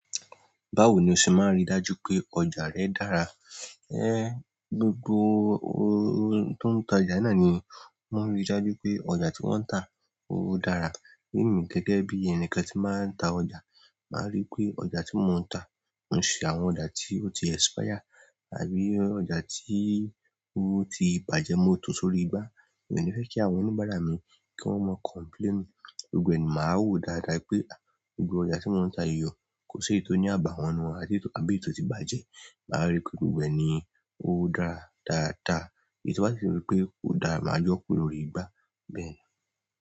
Báwo ni o ṣe máa ń rí dájú pé ọjà rẹ dára? É, gbogbo óó tó ń ta ọjà náà ni wọ́n rí dájú pé ọjà tí wọ́n ń tà ó dára. Èmi gẹ́gẹ́ bí ẹni kan tí máa ń ta ọjà, màá ríi pé ọjà tí mò ń tà kò ṣe àwọn ọjà tí ó ti expire àbí ọjà tí ó ti bàjẹ́ mo tó sórí igbá. Èmi ò ní fẹ́ kí àwọn oníbàárà mi kí wọ́n mọ complain. Gbogbo ẹni máa wò dáadáa wípé gbogbo ọjà tí wọ́n ń tà yi o, kò ṣi éyi tó ní àbàwọ́n nínú wọn àbí èyí tò ti bàjẹ́. Màá ríi pé gbogbo ẹni ó dára dáadáa. Èyí tò bá ṣi jẹ wípé kò dára, màá yọ kúrò lórí igbá bẹ́ẹ̀ ni.